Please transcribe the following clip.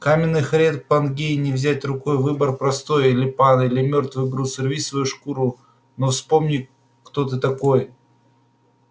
каменных рек пангеи не взять рукой выбор простой или пан или мёртвый груз рви свою шкуру но вспомни кто ты такой